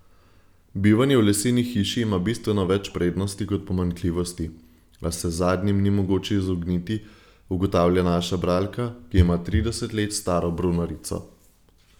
Bivanje v leseni hiši ima bistveno več prednosti kot pomanjkljivosti, a se zadnjim ni mogoče izogniti, ugotavlja naša bralka, ki ima trideset let staro brunarico.